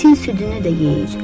İtin südünü də yeyir.